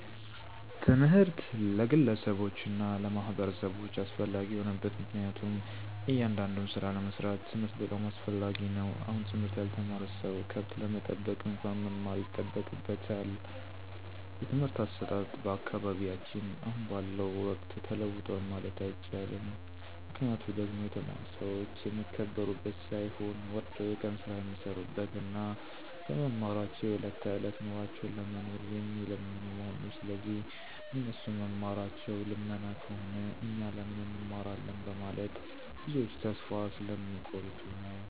ትምህርት ለግለሰቦች እና ለማህበረሰቦች አስፈላጊ የሆነበት ምክንያቱም እያንዳዱን ስራ ለመስራት ትምህርት በጣም አስፈላጊ ነው አሁን ትምህርት ያልተማረ ሰው ከብት ለመጠበቅ እንኳን መማር ይጠበቅበታል። የትምህርት አሰጣጥ በአካባቢያችን አሁን ባለው ወቅት ተለውጧል ማለት አይቸልም ምክንያቱ ደግሞ የተማሩ ሰዎች የሚከበሩበት ሳይሆን ወርደው የቀን ስራ የሚሰሩበት እና በመማራቸው የዕለት ተዕለት ኑሯቸውን ለመኖር የሚለምኑ መሆኑ ስለዚህ እነሱ መማራቸው ልመና ከሆነ እኛ ለምን እንማራለን በመለት ብዞች ተስፋ ስለሚ ቆርጡ ነዉ።